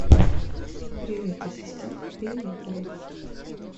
привет ассистент пейнтбол